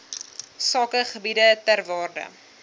sakegebiede ter waarde